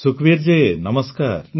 ସୁଖବୀର ଜୀ ନମସ୍କାର